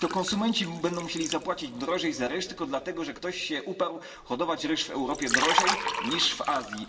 I to konsumenci będą musieli zapłacić drożej za ryż, tylko dlatego, że ktoś się uparł hodować ryż w Europie drożej niż w Azji.